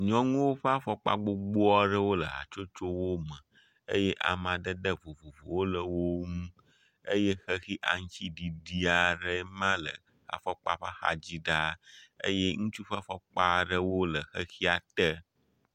Nyɔnuwo ƒe afɔkpa gbogbo aɖewo le hatsotsowo me eye amadede vovovowo le wo ŋu eye xexi aŋtsiɖiɖi aɖee ma le afɔkpa ƒe axadzi ɖaa eye ŋutsu ƒe afɔkpa aɖewo le xexia te.